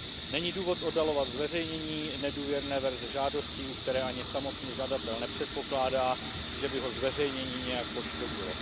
Není důvod oddalovat zveřejnění nedůvěrné verze žádosti, u které ani samotný žadatel nepředpokládá, že by ho zveřejnění nějak poškodilo.